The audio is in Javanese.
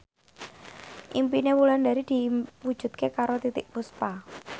impine Wulandari diwujudke karo Titiek Puspa